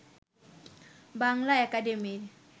বাংলা একাডেমির